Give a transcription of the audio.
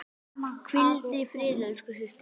Hvíldu í friði elsku systir.